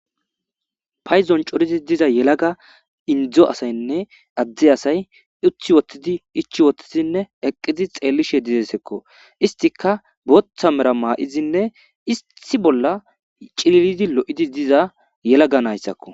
Payidon co,ora gidida adde asayinne indo asayi utiwotidinne ichiwotidi eqidi xelishe dizayitako istika botha mera mayidinne isti bolla ci,lilida yelaga nayithako